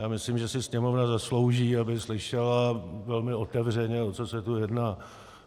Já myslím, že si Sněmovna zaslouží, aby slyšela velmi otevřeně, o co se tu jedná.